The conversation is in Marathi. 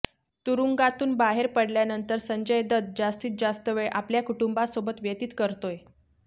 तुरुंगातून बाहेर पडल्यानंतर संजय दत्त जास्तीत जास्त वेळ आपल्या कुटुंबासोबत व्यतीत करतोय